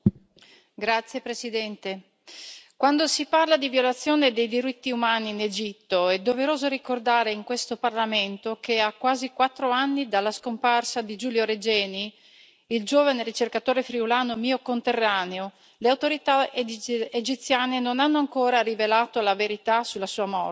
Signor Presidente, onorevoli colleghi, quando si parla di violazione dei diritti umani in Egitto, è doveroso ricordare in questo Parlamento che, a quasi quattro anni dalla scomparsa di Giulio Regeni, il giovane ricercatore friulano mio conterraneo, le autorità egiziane non hanno ancora rivelato la verità sulla sua morte.